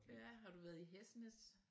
Ja har du været i Hesnæs?